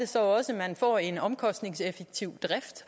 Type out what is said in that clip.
så også får en omkostningseffektiv drift